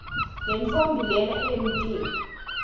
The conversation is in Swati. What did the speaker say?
lentfombi lena jnemtimba